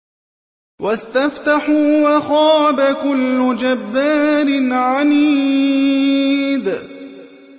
وَاسْتَفْتَحُوا وَخَابَ كُلُّ جَبَّارٍ عَنِيدٍ